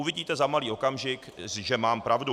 Uvidíte za malý okamžik, že mám pravdu.